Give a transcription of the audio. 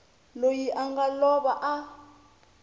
loyi a nga lova a